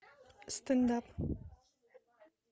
стенд ап